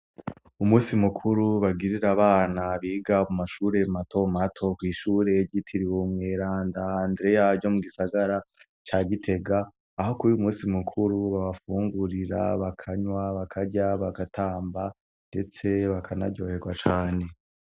Umusi mukuru bagirira abana biga mu mashure matomato kw'ishure gitiriuwumweranda andreyayo mu gisagara ca gitega aho kubi umusi mukuru babafungurira bakanywa bakarya bagatamba, ndetse bakanaryoherwa cane.